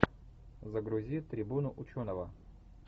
загрузи трибуну ученого